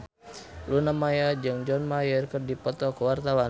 Luna Maya jeung John Mayer keur dipoto ku wartawan